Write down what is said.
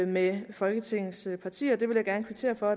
med folketingets partier og det vil jeg gerne kvittere for